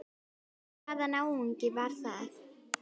Hvaða náungi var það?